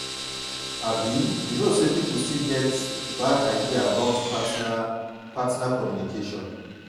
abi you know say people still get bad idea about this partner partner communication.